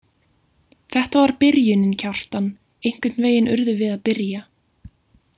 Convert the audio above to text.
Þetta var byrjunin, Kjartan, einhvern veginn urðum við að byrja.